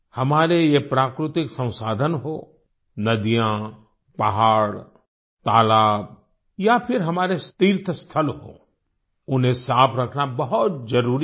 हमारे ये प्राकृतिक संसाधन हों नदियाँ पहाड़ तालाब या फिर हमारे तीर्थ स्थल हों उन्हें साफ़ रखना बहुत ज़रूरी है